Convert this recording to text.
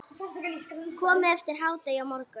Komið eftir hádegi á morgun.